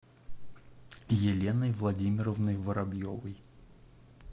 еленой владимировной воробьевой